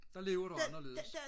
der lever du anderledes